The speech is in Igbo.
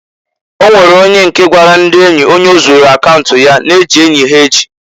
Onwere onye nke gwara ndị enyi onye o zuulu akaunt ya na e ji enyi ha eji.